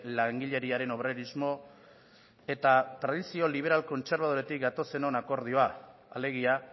langileriaren obrerismo eta tradizio liberal kontserbadoretik gatozenon akordioa alegia